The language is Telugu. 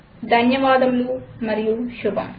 ధన్యవాదములు మరియు శుభం